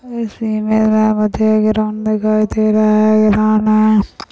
इस इमेज में हमें प्ले ग्राउंड दिखाई दे रहा है